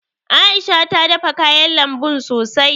A'isha ta dafa kayan lambun sosai.